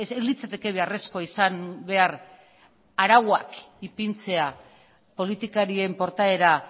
ez litzateke beharrezkoa izan behar arauak ipintzea politikarien portaera